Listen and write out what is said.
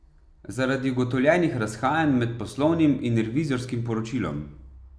Zaradi ugotovljenih razhajanj med poslovnim in revizorskim poročilom.